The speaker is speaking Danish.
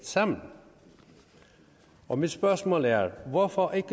sammen og mit spørgsmål er hvorfor ikke